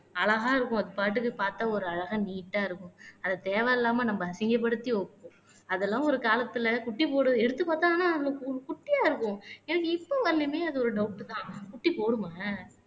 அழகா இருக்கும் அது படுக்கு பார்த்தால் ஒரு அழகா நீட்டா இருக்கும் அதை தேவையில்லாமல் நம்ம அசிங்கப்படுத்தி அதெல்லாம் ஒரு காலத்துல குட்டி போடுது எடுத்து பார்த்தா ஆனா அதுல கு குட்டியா இருக்கும் எனக்கு இப்ப வரையிலுமே அது ஒரு டவுட் தான் குட்டி போடுமா